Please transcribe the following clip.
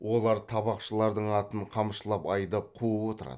олар табақшылардың атын қамшылап айдап қуып отырады